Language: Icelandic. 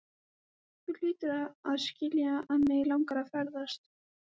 Þú hlýtur að skilja að mig langar að ferðast.